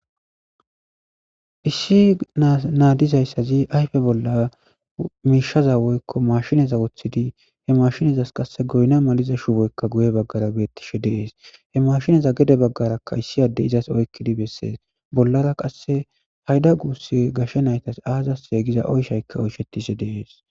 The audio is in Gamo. Issi naa diza ayiffe bolan mishshaza woyikko mashshineza woththidi he mashshinezas qase goyinna maliza shubboykka guye bagara bettishe de'es he mashinnezs gede baggara issi addezi izas oykkidi besses bolara qase payida quxxurey azise giza oyshshay oychetishe de'ess